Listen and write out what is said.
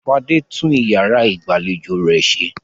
Fadé tún ìyàrá ìgbàlejò rẹ̀ ṣe.